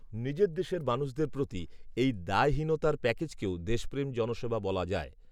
নিজের দেশের মানুষদের প্রতি এই দায়হীনতার প্যাকেজকেও দেশপ্রেম জনসেবা বলা যায়